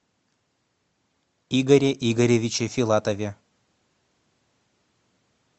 игоре игоревиче филатове